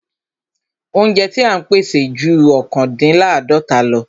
Óúnjẹ ti à ń pèsè ju ọ̀kándínláàdọ́ta lọ.